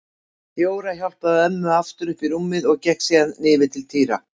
Jóra hjálpaði ömmu aftur upp í rúmið og gekk síðan yfir til Týra.